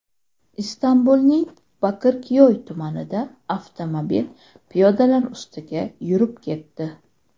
Istanbulning Bakirkyoy tumanida avtomobil piyodalar ustiga yurib ketdi.